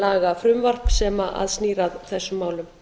lagafrumvarp sem snýr að þessum málum